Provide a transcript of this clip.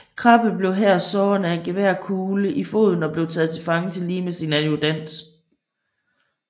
Krabbe blev her såret af en geværkugle i foden og taget til fange tillige med sin adjudant